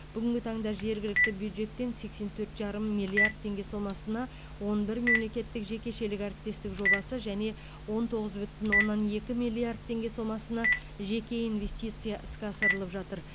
бүгінгі таңда жергілікті бюджеттен сексен төрт жарым миллиард теңге сомасына он бір мемлекеттік жекешелік әріптестік жобасы және он тоғыз бүтін оннан екі миллиард теңге сомасына жеке инвестиция іске асырылып жатыр